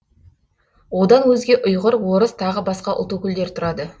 одан өзге ұйғыр орыс тағы басқа ұлт өкілдері тұрады